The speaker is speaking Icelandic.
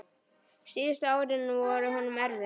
Síðustu árin voru honum erfið.